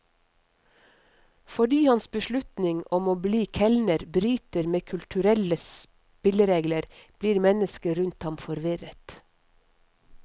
Fordi hans beslutning om å bli kelner bryter med kulturelle spilleregler, blir mennesker rundt ham forvirret.